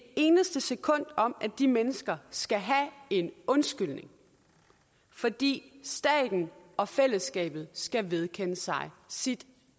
eneste sekund om at de mennesker skal have en undskyldning fordi staten og fællesskabet skal vedkende sig sit